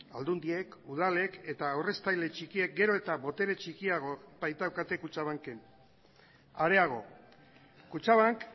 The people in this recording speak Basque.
aldundiek udalek eta aurreztaile txikiek gero eta botere txikiago baitaukate kutxabanken areago kutxabank